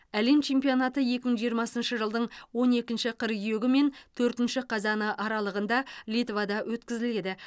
әлем чемпионаты екі мың жиырмасыншы жылдың он екінші қыркүйегі мен төртінші қазаны аралығында литвада өткізіледі